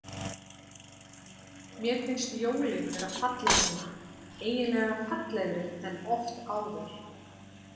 Mér finnst jólin vera falleg núna, eiginlega fallegri en oft áður.